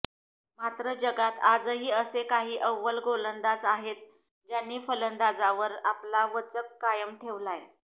मात्र जगात आजही असे काही अव्वल गोलंदाज आहेत ज्यांनी फलंदाजावर आपला वचक कायम ठेवलाय